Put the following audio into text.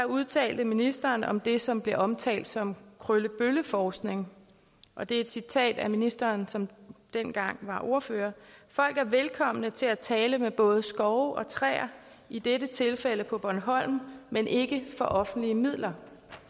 udtalte ministeren sig om det som blev omtalt som krøllebølleforskning og det er et citat af ministeren som dengang var ordfører folk er velkomne til at tale med både skove og træer i dette tilfælde på bornholm men ikke for offentlige midler